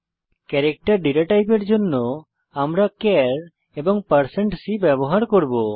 character data টাইপের জন্য আমরা চার এবং c ব্যবহার করব